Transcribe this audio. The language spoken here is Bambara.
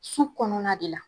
Su kɔnɔna de la